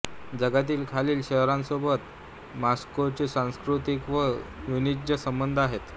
जगातील खालील शहरांसोबत मॉस्कोचे सांस्कृतिक व वाणिज्य संबंध आहेत